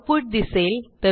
output दिसेल